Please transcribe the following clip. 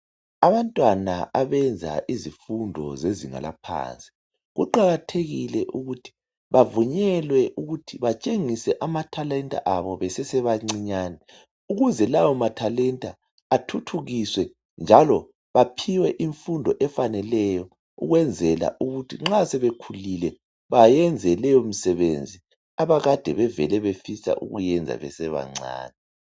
Abantwana abenza imfundo zezinga laphansi , kuqathekile ukuthi bavunyelwe ukuthi batshengise amatalenta abo besesebancinyane ukuze lawo mathalenta athuthukiswe njalo baphiwe imfundo efaneleyo ukwenzela ukuthi nxa sebekhulile bayenze leyo msebenzi njengoba Kade bevele befisa ukuyenza besabancan